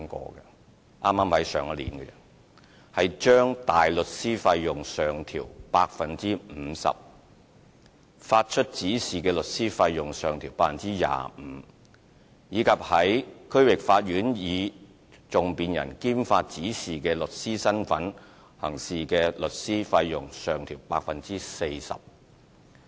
剛剛在上一年，亦將大律師費用上調 50%， 發出指示的律師費用上調 25%， 以及在區域法院以訟辯人兼發出指示的律師身分行事的律師費用上調 40%。